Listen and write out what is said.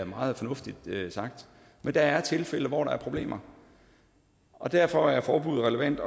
meget fornuftige men der er tilfælde hvor der er problemer og derfor er forbuddet relevant